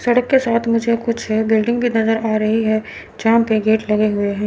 सड़क के साथ मुझे कुछ बिल्डिंग भी नजर आ रही है जहां पे गेट लगे हुए है।